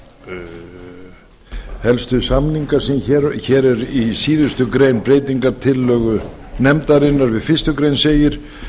að helstu samningar sem hér eru í síðustu grein breytingartillögu nefndarinnar við fyrstu grein segir